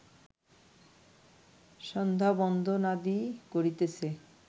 সন্ধ্যাবন্দনাদি করিতেছে